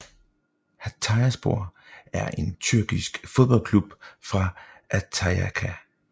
Hatayspor er en tyrkisk fodboldklub fra Antakya